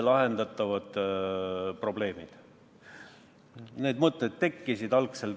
Need mõtted tekkisid.